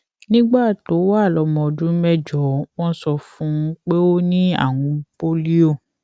nígbà tó wà lómọ ọdún mẹjọ wón sọ fún un pé ó ní àrùn pólíò